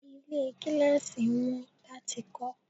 Ilé gíláàsì wọn láti kó